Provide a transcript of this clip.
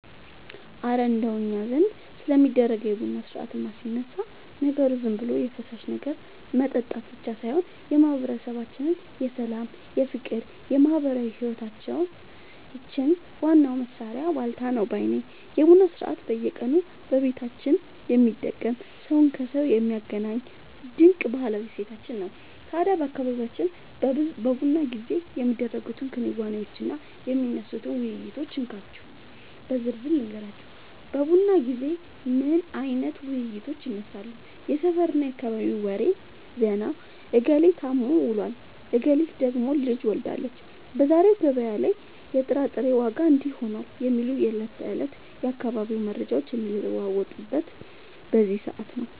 እረ እንደው እኛ ዘንድ ስለሚደረገው የቡና ሥርዓትማ ሲነሳ፣ ነገሩ ዝም ብሎ የፈሳሽ ነገር መጠጣት ብቻ ሳይሆን የማህበረሰባችን የሰላም፣ የፍቅርና የማህበራዊ ህይወታችን ዋናው ማሰሪያ ዋልታ ነው ባይ ነኝ! የቡና ሥርዓት በየቀኑ በየቤታችን የሚደገም፣ ሰውን ከሰው የሚያገናኝ ድንቅ ባህላዊ እሴታችን ነው። ታዲያ በአካባቢያችን በቡና ጊዜ የሚደረጉትን ክንዋኔዎችና የሚነሱትን ውይይቶች እንካችሁ በዝርዝር ልንገራችሁ፦ በቡና ጊዜ ምን አይነት ውይይቶች ይነሳሉ? የሰፈርና የአካባቢ ወሬ (ዜና)፦ "እገሌ ታሞ ውሏል፣ እገሊት ደግሞ ልጅ ወልዳለች፣ በዛሬው ገበያ ላይ የጥራጥሬ ዋጋ እንዲህ ሆኗል" የሚሉ የዕለት ተዕለት የአካባቢው መረጃዎች የሚለዋወጡት በዚህ ሰዓት ነው።